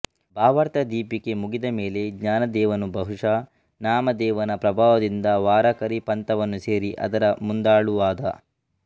ಭಾವಾರ್ಥದೀಪಿಕೆ ಮುಗಿದ ಮೇಲೆ ಜ್ಞಾನದೇವನು ಬಹುಶಃ ನಾಮದೇವನ ಪ್ರಭಾವದಿಂದ ವಾರಕರಿ ಪಂಥವನ್ನು ಸೇರಿ ಅದರ ಮುಂದಾಳುವಾದ